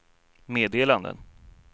meddelanden